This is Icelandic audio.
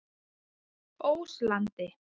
Óslandi